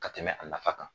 Ka tɛmɛ a nafa kan